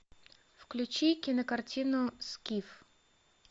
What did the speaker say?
включи кинокартину скиф